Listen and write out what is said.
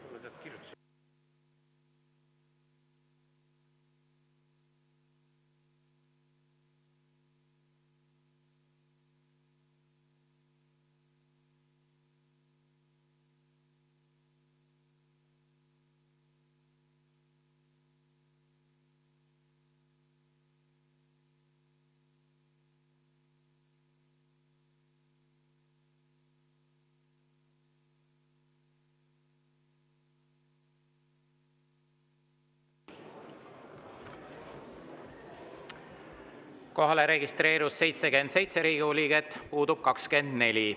Kohalolijaks registreerus 77 Riigikogu liiget, puudub 24.